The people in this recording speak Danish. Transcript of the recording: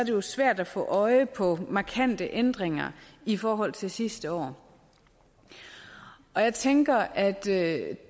jo svært at få øje på markante ændringer i forhold til sidste år jeg tænker at